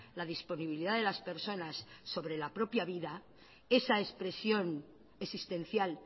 la disponibilidad de las personas sobre la propia vida esa expresión existencial